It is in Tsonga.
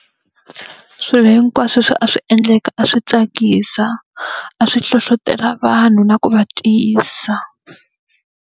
Swilo hinkwaswo leswi a swi endleka a swi tsakisa, a swi hlohletela vanhu na ku va tiyisa.